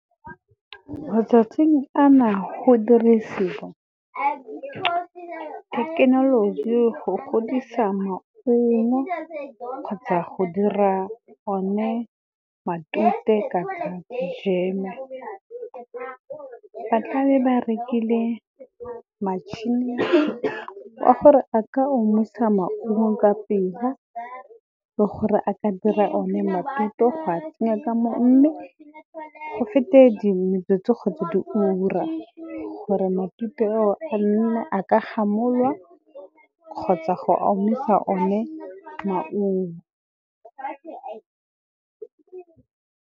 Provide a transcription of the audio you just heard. Matsatsing a na go dirisiwa thekenoloji go godisa maungo, kgotsa go dira one matute kapa jam-e. Ba tla be ba rekile machine-e a gore a ka omisa maungo ka pela, le gore a ka dira o ne matute go a tsenya ka moo. Mme go fete metsotso kgotsa diura, gore matute ao a nna a ka gamololwa kgotsa go omisa one maungo.